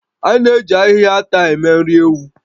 A na-eji ahịhịa ata eme nri ewu